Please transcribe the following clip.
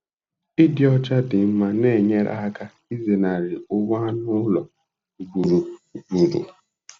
Ịdị ọcha dị mma na-enyere aka ịzenarị ụgwọ anụ ụlọ ugboro ugboro.